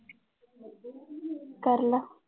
ਕਰ ਲਾ।